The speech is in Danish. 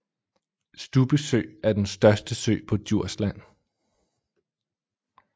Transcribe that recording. Stubbe Sø er den største sø på Djursland